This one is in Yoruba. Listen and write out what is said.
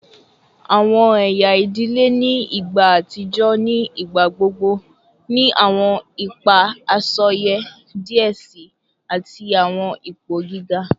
Awọn ẹya idile ni igba atijọ ni igbagbogbo ni awọn ipa asọye diẹ sii ati awọn ipo giga